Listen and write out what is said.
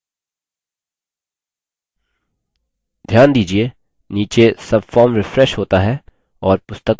ध्यान दीजिये नीचे subform refreshes होता है और पुस्तकों का वापस होना दर्शाता है